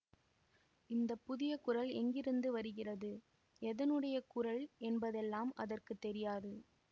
இந்த புதிய குரல் எங்கிருந்து வருகிறது எதனுடைய குரல் என்பதெல்லாம் அதற்கு தெரியாது